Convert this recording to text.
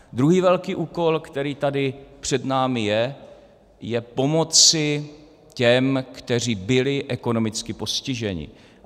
Druhý velký úkol, který tady před námi je, je pomoci těm, kteří byli ekonomicky postiženi.